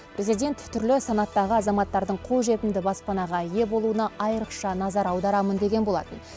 президент түрлі санаттағы азаматтардың қолжетімді баспанаға ие болуына айрықша назар аударамын деген болатын